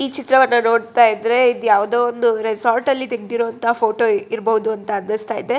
ಈ ಚಿತ್ರವನ್ನ ನೋಡ್ತಾ ಇದ್ರೆ ಇದು ಯಾವ್ದೋ ಒಂದು ರೆಸಾರ್ಟ್ ಅಲ್ಲಿ ತೆಗ್ದಿರೋಂತ ಫೋಟೋ ಇರ್ರ್ಬೋದು ಅಂತ ಅನ್ನಿಸ್ತಾ ಐತೆ.